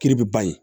Kiri bɛ ban ye